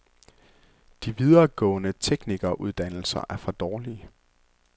De videregående teknikeruddannelser er for dårlige.